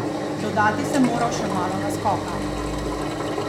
Dodati sem moral še malo naskoka.